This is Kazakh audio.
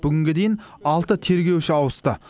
бүгінге дейін алты тергеуші ауысты